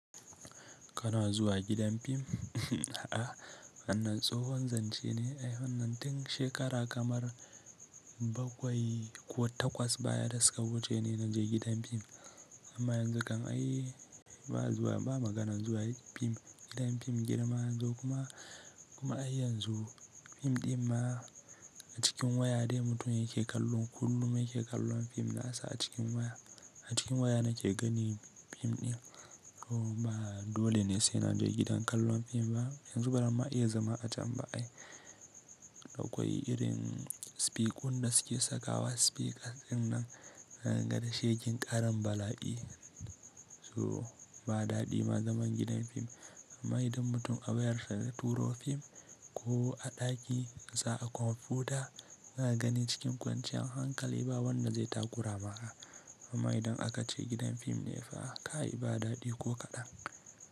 Kana zuwa gidan fim? A'a, wannan tsohon zance ne. Ai, wannan tin shekara kamar bakwai ko takwas baya rasa wuce ne na je gidan fim. Amma yanzu kam ai ba zuwa, ba maganar zuwa fim, gidan fim girma yanzu kuma, kuma ai yanzu fim ɗin ma a cikin waya ne mutum yake kallon. Kullum yake kallon fim nasa a cikin waya. A cikin waya nake gani fim ɗin. So ba dole ne sai na je gidan kallon fim ba. Yanzu baranma iya zama a can ba ai. Akwai irin spikuɗin da suke sakawa speakers ɗin nan na gan shekin ƙaran bala'i. So ba daɗi ma zaman gidan fim. Amma idan mutum a bayarfa da turo fim ko a ɗaki nasa a kwamfuta yana gani cikin kwanciyar hankali ba wanda zai takura maka. Amma idan aka ce gidan fim ne fa kai ba daɗi ko kaɗan.